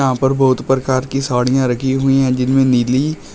यहां पर बहुत प्रकार की साड़ियां रखी हुई हैं जिनमें नीली--